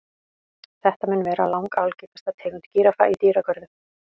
Þetta mun vera langalgengasta tegund gíraffa í dýragörðum.